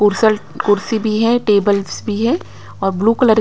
खुर्स्ट कुर्सी भी है टेबल्स भी है और ब्लू कलर --